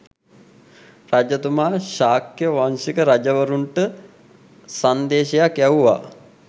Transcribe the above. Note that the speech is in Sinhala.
රජතුමා ශාක්‍ය වංශික රජවරුන්ට සංදේශයක් යැව්වා.